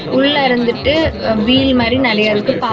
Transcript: உள்ள இருந்துட்டு வீல் மாறி நறைய இருக்கு பா--